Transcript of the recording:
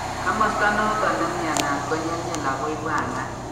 Kamasto noton nemnyanat ko nyelnyel ako ibwanat